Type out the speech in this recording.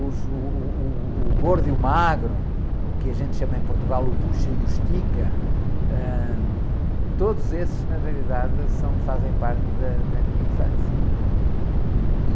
O ju, uh, uh, uh, o gordo e o magro, o que a gente chama em Portugal o bucha e o estica, ãh, todos esses, na realidade, fazem parte da, da minha infância.